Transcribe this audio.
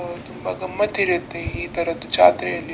ಆ ತುಂಬಾ ಗಮ್ಮತ್ ಇರುತ್ತೆ ಈ ತರದ್ ಜಾತ್ರೆಯಲ್ಲಿ --